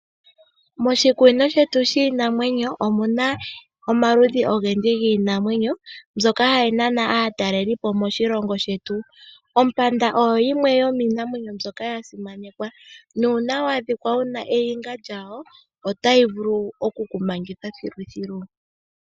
Otu na omaludhi ogendji giinamwenyo mbyoka hayi nana aatalelipo moshilongo shetu ngaashi ompanda oyo yimwe yomiinamwenyo mbyoka ya simanekwa oshoka uuna wa adhika wuna oniga yawo oto vulu okumangwa po.